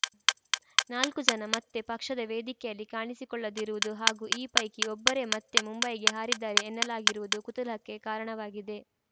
ನಾಲ್ಕೂ ಜನ ಮತ್ತೆ ಪಕ್ಷದ ವೇದಿಕೆಯಲ್ಲಿ ಕಾಣಿಸಿಕೊಳ್ಳದಿರುವುದು ಹಾಗೂ ಈ ಪೈಕಿ ಒಬ್ಬರೇ ಮತ್ತೆ ಮುಂಬೈಗೆ ಹಾರಿದ್ದಾರೆ ಎನ್ನಲಾಗಿರುವುದು ಕುತೂಹಲಕ್ಕೆ ಕಾರಣವಾಗಿದೆ